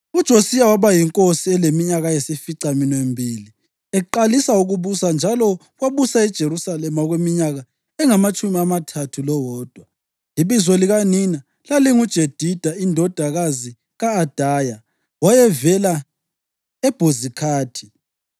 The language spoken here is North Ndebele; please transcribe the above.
UJosiya waba yinkosi eleminyaka eyisificaminwembili eqalisa ukubusa njalo wabusa eJerusalema okweminyaka engamatshumi amathathu lowodwa. Ibizo likanina lalinguJedida indodakazi ka-Adaya; wayevela eBhozikhathi.